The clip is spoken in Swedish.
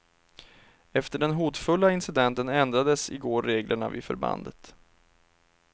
Efter den hotfulla incidenten ändrades i går reglerna vid förbandet.